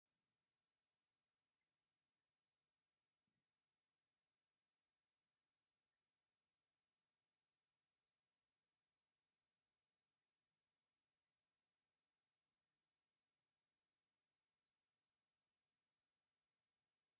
ክዳና ሳዕሪ ዝኾነት ግድግዳ ገዛ ትርአ ኣላ፡፡ ካልእ ክፍሊ ዓለም ኣብ በዓቲ ኣብ ዝነበረሉ ዘመን ወለዲ ከምዚ ዓይነት ገዛ ሰሪሖም ነይሮም፡፡ ሎሚ ድኣ ንምንታይ ድሕሪት ተረፍና?